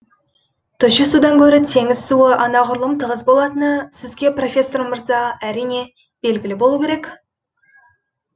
тұщы судан гөрі теңіз суы анағұрлым тығыз болатыны сізге профессор мырза әрине белгілі болуы керек